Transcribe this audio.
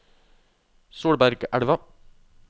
Solbergelva